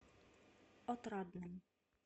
отрадным